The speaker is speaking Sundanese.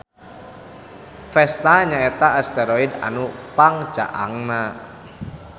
Vesta nya eta asteroid anu pangcaangna.